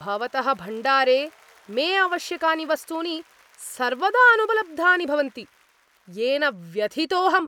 भवतः भण्डारे मे आवश्यकानि वस्तूनि सर्वदा अनुपलब्धानि भवन्ति, येन व्यथितोऽहम्।